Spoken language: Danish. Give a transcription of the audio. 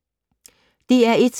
DR1